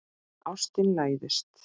Ástin læðist.